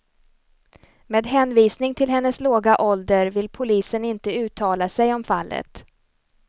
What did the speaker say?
Med hänvisning till hennes låga ålder vill polisen inte uttala sig om fallet.